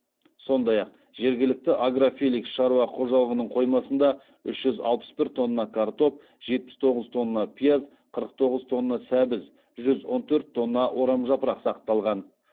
сондай ақ жергілікті агрофеликс шаруа қожалығының қоймасында үш жүз алпыс бір тонна картоп жетпіс тоғыз тонна пияз қырық тоғыз тонна сәбіз жүз он төрт тонна орамжапырақ сақталған